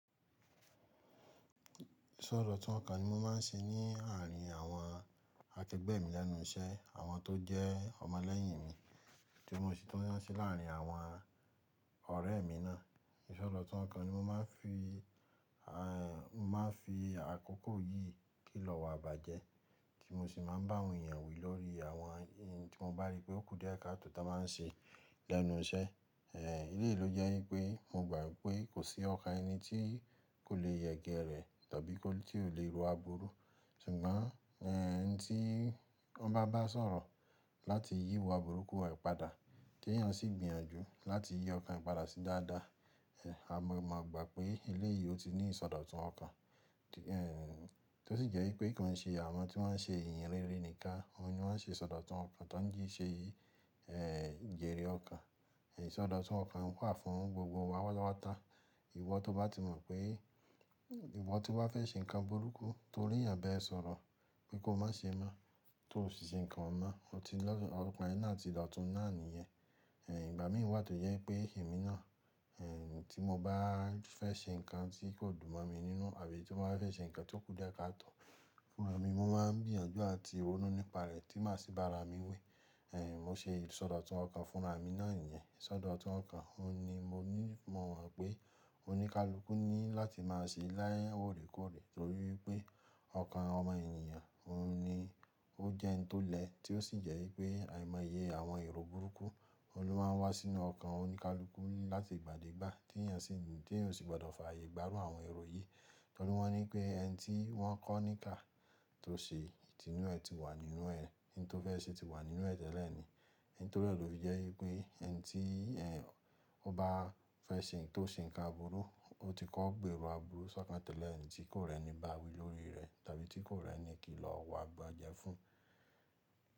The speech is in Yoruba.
Tu ọ̀rọ̀ tó kàn ni mo máa ń ṣe ní àárín àwọn akẹgbẹ́ mi lẹ́nu iṣẹ́, àwọn tó jẹ́ ọmọ lẹ́yìn mi tí mo sì tún ń se láàrin àwọn ọ̀rẹ́ mi náà. Ọ̀rọ̀ ti ń kà ni mo máa ń fi, mo máa ń fi àkókò yìí kìlọ̀ wá bàjẹ́, tí mo sì máa ń bá wọn èyàn wí lórí àwọn ohun tí mo bá rí pé ó kù díẹ̀ ká tò tó máa ń ṣe lẹ́nu iṣẹ́. Èléyìí ló jẹ́ ń pé mo gbà ń pé kò sí ọkàn ẹni tí kò lè yẹgẹrẹ tàbí tí ó lè ro aburú. Ṣùgbọ́n, ẹni tí ọ bá bá sọ̀rọ̀ láti yí wá burúkú re padà tí èèyàn sì gbìyànjú láti yí ọkàn padà sí dáadáa, a máa mọ̀ gbà pé èléyìí ó ti ní ìsọdọ̀tun ọkàn. Tó sì jẹ́ e pé kò ń ṣe àwọn tí wọ́n ṣe ìyìnrere nìkan, àwọn ni wọ́n ṣe ìsọdọ̀tun ọkàn tán jí ṣe yìí, jèrè ọkàn. Isọ́dọ̀tun ọkàn wà fún gbogbo wa páta páta. Ìwọ tó bá ti mọ̀ pé, ìwọ tó bá fẹ́ ṣe nǹkan burúkú torí ẹ̀yàn bá ẹ sọ̀rọ̀ pé kó má ṣe mọ́, tó sì ṣe ǹkan hún mọ́, ó ti lọ́, ọkan ẹ náà ti dotún náà nìyẹn. Ìgbà mí wà tó jẹ́ pé èmi náà, tí mo bá fẹ́ ṣe ǹkan tí kò dùn mọ̀ mi nínú àbí tí mo bá fẹ́ ṣe ǹkan tí ó kù díẹ̀ ká tọ̀ fúnra mi, mo máa ń gbìyànjú àti ronú nípa rẹ̀ tí màá sì bára mi wẹ̀. Mo ṣe ìsọdọ̀tun ọkàn fúnra mi náà nìyẹn. Ìsọdọ̀tun ọkàn, òun ni mo ní mọ̀ wọ́n pé oníkálukú ní láti máa ṣe láyé oòrékọ́òré torí pé ọkàn ọmọ ènìyàn òun ni ó jẹ́ ẹni tó lẹ́ tí ó sì jẹ́ wípé àìmọye àwọn èrò burúkú, òun ló máa ń wá sínú ọkàn oníkálukú láti igbà dé ìgbà tí èèyàn sì, tí èèyàn sì gbọ́dọ̀ fààyè gbá irù àwọn èrò yìí. Torí wọ́n ní pé ẹni tí wọ́n kọ́ ní iká tó ṣe, tínú ẹ ti wà nínú ẹ, oun tí ó fẹ́ ṣe ti wà nínú ẹ tẹ́lẹ̀ ni. Nítorí e lo fi jẹ́ wípé ẹni tí ẹm, o bá fẹ́ ṣe nǹkan tó ṣe nǹkan aburú, ó ti kọ́ gbèrò aburú sọ́kàn tẹ́lẹ̀ ẹni tí kò rẹ́ni bá wí lórí rẹ tàbí tí kò rẹ́ni kìlọ̀ wá bàja fún.